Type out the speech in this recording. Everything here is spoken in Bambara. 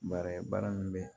Baara ye baara min be ye